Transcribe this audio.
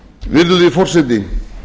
virðulegi forseti